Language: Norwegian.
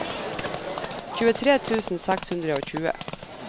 tjuetre tusen seks hundre og tjue